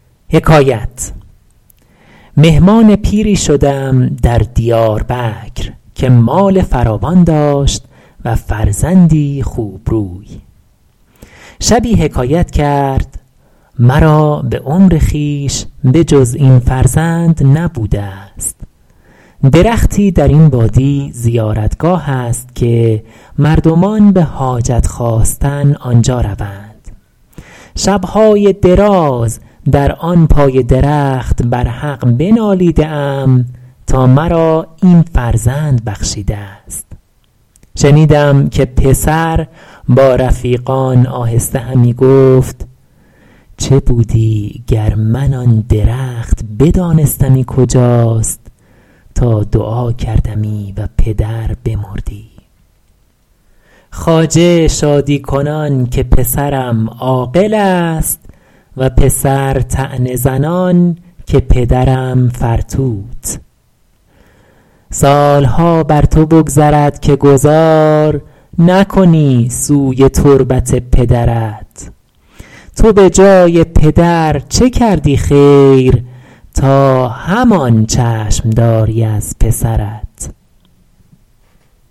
مهمان پیری شدم در دیاربکر که مال فراوان داشت و فرزندی خوبروی شبی حکایت کرد مرا به عمر خویش به جز این فرزند نبوده است درختی در این وادی زیارتگاه است که مردمان به حاجت خواستن آنجا روند شب های دراز در آن پای درخت بر حق بنالیده ام تا مرا این فرزند بخشیده است شنیدم که پسر با رفیقان آهسته همی گفت چه بودی گر من آن درخت بدانستمی کجاست تا دعا کردمی و پدر بمردی خواجه شادی کنان که پسرم عاقل است و پسر طعنه زنان که پدرم فرتوت سالها بر تو بگذرد که گذار نکنی سوی تربت پدرت تو به جای پدر چه کردی خیر تا همان چشم داری از پسرت